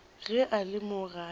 ge a le mo gae